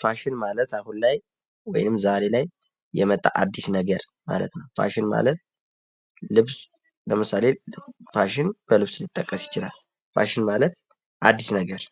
ፋሽን ማለት አሁን ላይ ወይም ዛሬ ላይ የመጣ አዲስ ነገር ማለት ነዉ። ፋሽን ማለት ልብስ ለምሳሌ ልብስ ፋሽን በልብስ ሊጠቀስ ይችላል። ፋሽን ማለት አዲስ ነገር